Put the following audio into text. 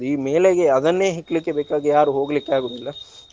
ಈ ಮೇಲೆಗೆ ಅದನ್ನೇ ಹೆಕ್ಲಿಕ್ಕೆ ಬೇಕಾಗಿ ಯಾರು ಹೋಗ್ಲಿಕ್ಕಾಗುದಿಲ್ಲ.